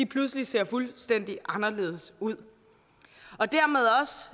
pludselig ser fuldstændig anderledes ud